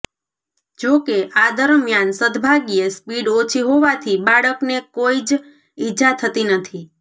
જો કે આ દરમિયાન સદભાગ્યે સ્પીડ ઓછી હોવાથી બાળકને કોઇ જ ઇજા થતી નથી